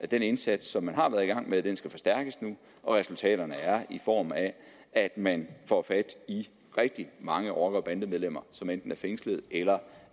den indsats som man har været i gang med og resultaterne er der i form af at man får fat i rigtig mange rocker og bandemedlemmer som enten er fængslet eller